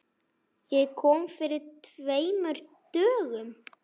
Ég kom fyrir tveimur dögum.